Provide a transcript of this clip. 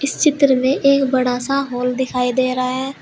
इस चित्र में एक बड़ा सा हॉल दिखाई दे रहा है।